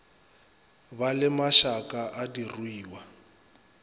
ba le mašaka a diruiwa